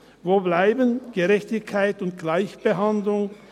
Wo blieben Gerechtigkeit und Gleichbehandlung?